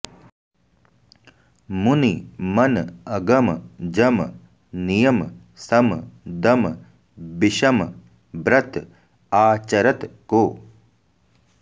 मुनि मन अगम जम नियम सम दम बिषम ब्रत आचरत को